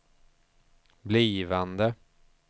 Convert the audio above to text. blivande